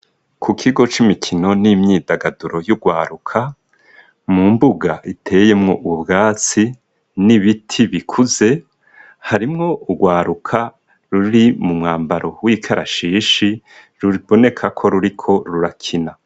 Ku kigo c'imikino n'imyidagaduro y'urwaruka mu mbuga iteyemwo ubwatsi n'ibiti bikuze harimwo urwaruka ruri mu mwambaro w'ikarashishi ruboneka ko ruriko rurakina.